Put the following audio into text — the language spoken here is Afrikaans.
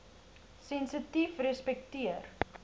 sensitiefrespekteer